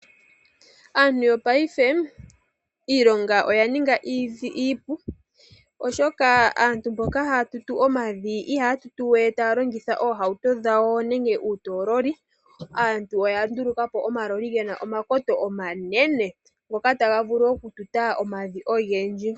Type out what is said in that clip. Aantu yopaife iilonga oya ninga iipu, oshoka aantu mboka haya tutu omavi ihaya tutu we taya longitha oohauto dhawo nenge uutololi. Aantu oya nduluka po omaloli ngono gena omakoto omanene ngoka taga vulu oku tuta omavi ogendji.